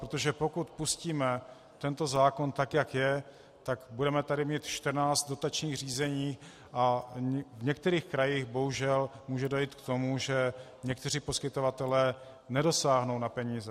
Protože pokud pustíme tento zákon tak, jak je, tak budeme tady mít 14 dotačních řízení a v některých krajích bohužel může dojít k tomu, že někteří poskytovatelé nedosáhnou na peníze.